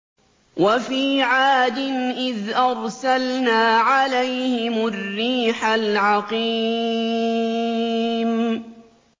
وَفِي عَادٍ إِذْ أَرْسَلْنَا عَلَيْهِمُ الرِّيحَ الْعَقِيمَ